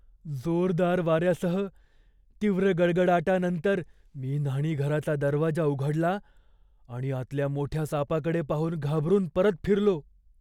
जोरदार वाऱ्यासह तीव्र गडगडाटानंतर मी न्हाणीघराचा दरवाजा उघडला आणि आतल्या मोठ्या सापाकडे पाहून घाबरून परत फिरलो.